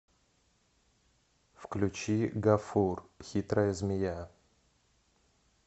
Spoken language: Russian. включи гафур хитрая змея